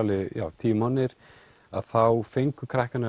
tíu mánuðir þá fengu krakkarnir